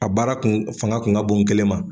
A baara kun fanga kun ka bon n kelen ma.